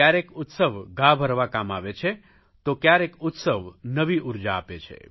કયારેક ઉત્સવ ઘા ભરવા કામ આવે છે તો કયારેક ઉત્સવ નવી ઉર્જા આપે છે